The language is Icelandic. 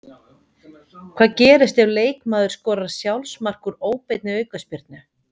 Hvað gerist ef leikmaður skorar sjálfsmark úr óbeinni aukaspyrnu?